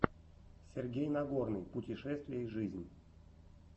сергей нагорный путешествия и жизнь